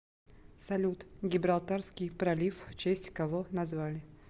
салют гибралтарский пролив в честь кого назвали